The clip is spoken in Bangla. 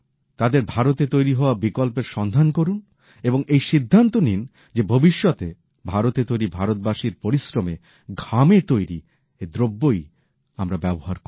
তাদের ভারতে তৈরি হওয়া বিকল্পের সন্ধান করুন এবং এই সিদ্ধান্ত নিন যে ভবিষ্যতে ভারতে তৈরি ভারতবাসীর পরিশ্রমে ঘামে তৈরি দ্রব্যই আমরা ব্যবহার করব